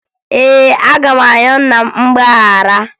Ee, aga m ayọ nna m mgbaghara